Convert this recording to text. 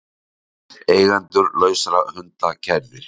Eigendur lausra hunda kærðir